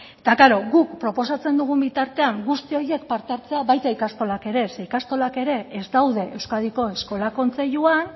eta klaro guk proposatzen dugun bitartean guzti horiek parte hartzea baita ikastolak ere zeren ikastolak ere ez daude euskadiko eskola kontseiluan